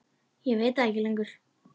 Ég veit það ekki lengur.